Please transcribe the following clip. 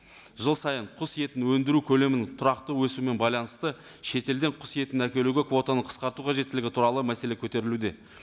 жыл сайын құс етін өндіру көлемін тұрақты өсуімен байланысты шетелден құс етін әкелуге квотаны қысқарту қажеттілігі туралы мәселе көтерілуде